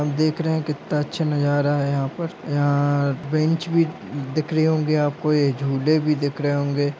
हम देख रहे है कित्ता अच्छा नजारा है यहाँ पर यहाँ बैंच भी दिखरे होंगे आपको ये झूले भी दिखरे होंगे।